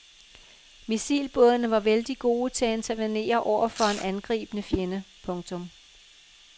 Missilbådene var vældigt gode til at intervenere over for en angribende fjende. punktum